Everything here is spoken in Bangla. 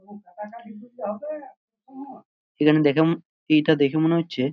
এখানে দেখে ম এইটা দেখে মনে হচ্ছে--